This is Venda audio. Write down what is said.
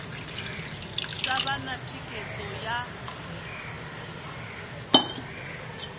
sa vha na thikhedzo ya